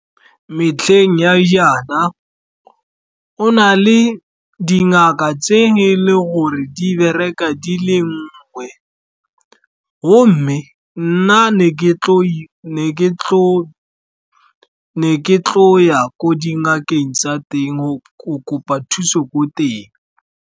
Metlheng ya jaana, go na le dingaka tse e leng gore di bereka di le nngwe, gomme nna ke tlo ya ko dingakeng tsa teng go kopa thuso ko teng.